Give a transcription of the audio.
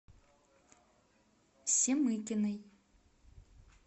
семыкиной